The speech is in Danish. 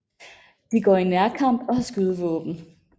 De går i nærkamp og har skydevåden